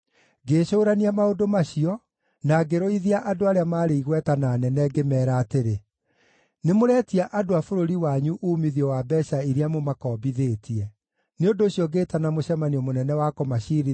Ngĩĩcũũrania maũndũ macio, na ngĩrũithia andũ arĩa maarĩ igweta na anene, ngĩmeera atĩrĩ, “Nĩmũreetia andũ a bũrũri wanyu uumithio wa mbeeca iria mũmakombithĩtie!” Nĩ ũndũ ũcio ngĩĩtana mũcemanio mũnene wa kũmaciirithia,